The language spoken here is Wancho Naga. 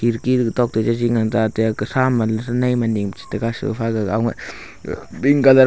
tok to jaji nganta taiya kathra hama nei maning pe chetaiga sofa gaga anguih pink colour .